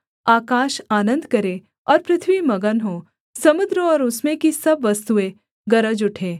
आकाश आनन्द करे और पृथ्वी मगन हो समुद्र और उसमें की सब वस्तुएँ गरज उठें